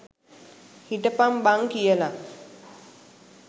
හිටපං බං කියලා.